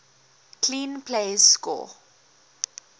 clean plays score